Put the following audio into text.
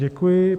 Děkuji.